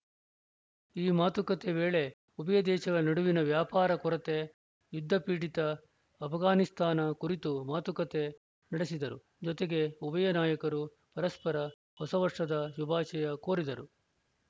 ಈ ಮಾತುಕತೆ ವೇಳೆ ಉಭಯ ದೇಶಗಳ ನಡುವಿನ ವ್ಯಾಪಾರ ಕೊರತೆ ಯುದ್ಧಪೀಡಿತ ಆಷ್ಘಾನಿಸ್ತಾನ ಕುರಿತು ಮಾತುಕತೆ ನಡೆಸಿದರು ಜೊತೆಗೆ ಉಭಯ ನಾಯಕರು ಪರಸ್ಪರ ಹೊಸ ವರ್ಷದ ಶುಭಾಶಯ ಕೋರಿದರು